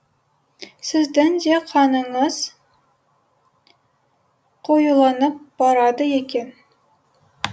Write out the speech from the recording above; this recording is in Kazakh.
сіздің де қаныңыз қоюланып барады екен